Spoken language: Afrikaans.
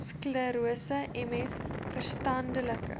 sklerose ms verstandelike